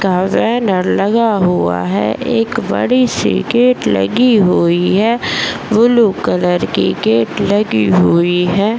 का बैनर लगा हुआ है | एक बड़ी सी गेट लगी हुई है | ब्लू कलर की गेट लगी हुई है।